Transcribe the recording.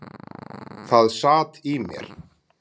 Það sat í mér.